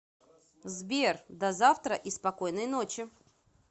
сбер до завтра и спокойной ночи